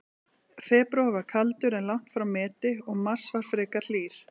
Febrúar var kaldur, en langt frá meti, og mars var frekar hlýr.